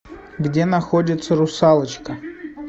где находится русалочка